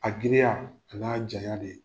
A giriya y'a janya de ye.